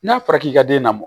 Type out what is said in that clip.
N'a fɔra k'i ka den na